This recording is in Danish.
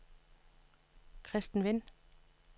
Christen Wind